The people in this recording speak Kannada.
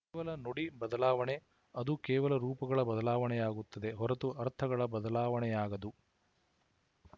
ಕೇವಲ ನುಡಿ ಬದಲಾವಣೆ ಅದು ಕೇವಲ ರೂಪಗಳ ಬದಲಾವಣೆಯಾಗುತ್ತದೆ ಹೊರತು ಅರ್ಥಗಳ ಬದಲಾವಣೆಯಾಗದು